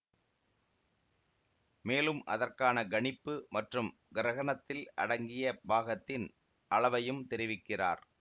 மேலும் அதற்கான கணிப்பு மற்றும் கிரகணத்தில் அடங்கிய பாகத்தின் அளவையும் தெரிவிக்கிறார்